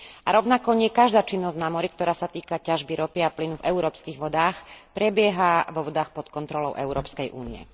A rovnako nie každá činnosť na mori, ktorá sa týka ťažby ropy a plynu v európskych vodách, prebieha vo vodách pod kontrolou Európskej únie.